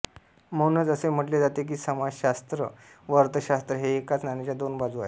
म्हणूनच असे म्हटले जाते की समाजषास्त्र व अर्थषास्त्र हे एकाच नाण्याच्या दोन बाजू आहेत